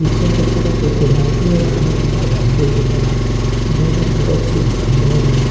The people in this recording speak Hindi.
पीछे के तरफ एक गुलाबी और लाल रंग का मंदिर दिख रहा हो जहाँ में खूब अच्छी डिजाइन बनी है।